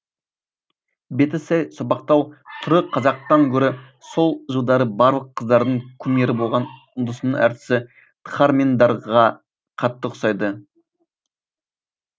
беті сәл сопақтау түрі қазақтан гөрі сол жылдары барлық қыздардың кумирі болған үндінің әртісі дхармендраға қатты ұқсайды